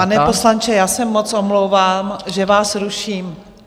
Pane poslanče, já se moc omlouvám, že vás ruším.